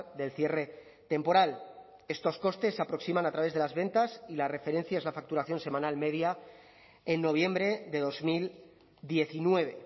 del cierre temporal estos costes se aproximan a través de las ventas y la referencia es la facturación semanal media en noviembre de dos mil diecinueve